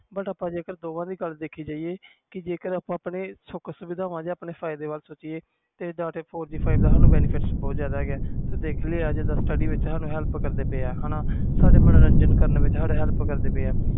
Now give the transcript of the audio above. ਜੇ ਆਪਾ ਦੋਹਾਂ ਦੀ ਗੱਲ ਕਰੀਏ ਤਾ ਆਪਣੇ ਸੁਖ ਸੁਵਿਧਾ ਲਈ four G five G ਬਹੁਤ benefit ਆ ਜਿਵੇ study ਵਿਚ help ਕਰਦਾ ਮੰਜ਼ੋਰਨ ਵਿਚ help ਵੀ ਕਰਦਾ ਆ